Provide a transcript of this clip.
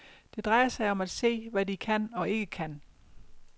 Det drejer sig om at se, hvad de kan og ikke kan.